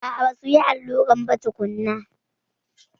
A'a, basuyi alluran ba tukunna.